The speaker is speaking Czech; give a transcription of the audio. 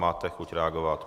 Máte chuť reagovat.